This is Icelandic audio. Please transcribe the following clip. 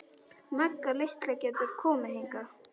Magga litla getur komið hingað.